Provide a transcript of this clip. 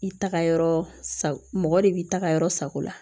I taga yɔrɔ sa mɔgɔ de b'i ta ka yɔrɔ sago la